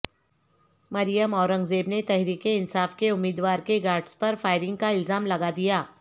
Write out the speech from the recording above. مریم اورنگزیب نے تحریک انصاف کے امیدوار کے گارڈز پر فائرنگ کا الزام لگادیا